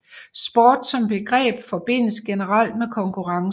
Sport som begreb forbindes generelt med konkurrence